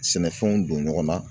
Sɛnɛfɛnw don ɲɔgɔn na